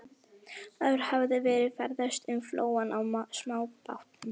Áður hafði verið ferðast um flóann á smábátum.